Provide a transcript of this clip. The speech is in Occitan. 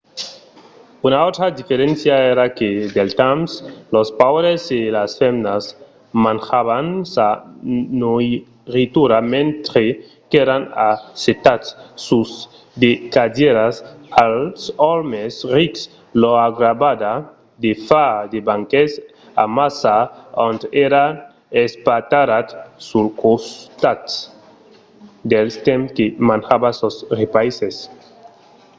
una autra diferéncia èra que del temps los paures e las femnas manjavan sa noiritura mentre qu’èran assetats sus de cadièras als òmes rics lor agradava de far de banquets amassa ont èran espatarrats sul costat del temps que manjavan sos repaisses